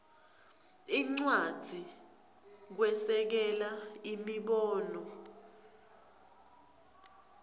incwadzi kwesekela imibono